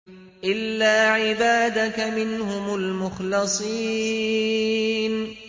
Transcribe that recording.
إِلَّا عِبَادَكَ مِنْهُمُ الْمُخْلَصِينَ